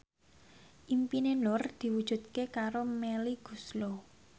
impine Nur diwujudke karo Melly Goeslaw